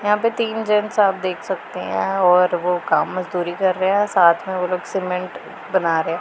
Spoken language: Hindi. यहां पे तीन जेंट्स आप देख सकते हैं और वो काम मजदूरी कर रहे हैं साथ में वो लोग सीमेंट बना रहे हैं।